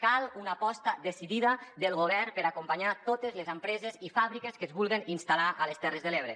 cal una aposta decidida del govern per acompanyar totes les empreses i fàbriques que es vulguen instal·lar a les terres de l’ebre